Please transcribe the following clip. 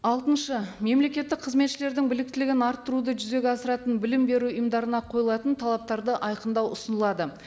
алтыншы мемлекеттік қызметшілердің біліктілігін арттыруды жүзеге асыратын білім беру ұйымдарына қойылатын талаптарды айқындау ұсынылады